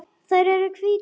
Þær eru hvítar.